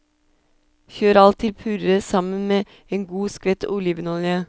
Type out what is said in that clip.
Kjør alt til puré sammen med en god skvett olivenolje.